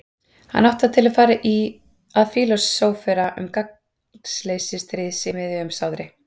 Hann átti það til að fara að fílósófera um gagnsleysi stríðs í miðju umsátri.